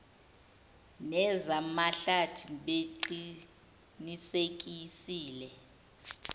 neza mahlathi beqinisekisile